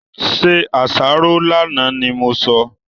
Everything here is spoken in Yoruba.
Se àsáró lánàá ni mo sọ!